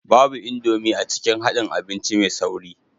Babu Indomie a cikin haɗin abinci mai sauri